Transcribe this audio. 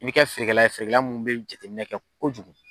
I be kɛ feerekɛla ye feerekɛla munnu be jateminɛ kɛ kojugu